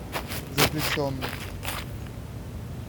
заключенный